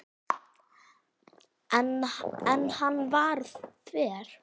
En hann var þver.